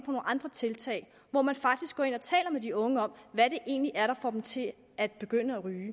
nogle andre tiltag hvor man faktisk går ind og taler med de unge om hvad det egentlig er der får dem til at begynde at ryge